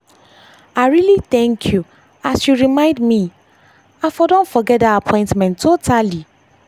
i really thank you as you remind me i for don forget that appointment totally. that appointment totally.